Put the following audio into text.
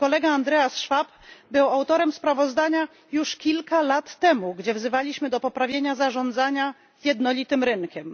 Mój kolega Andreas Schwab był autorem sprawozdania już kilka lat temu, gdzie wzywaliśmy do poprawienia zarządzania jednolitym rynkiem.